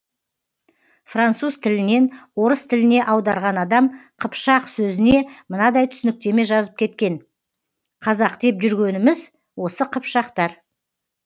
француз тілінен орыс тіліне аударған адам қыпшақ сөзіне мынадай түсініктеме жазып кеткен қазақ деп жүргеніміз осы қыпшақтар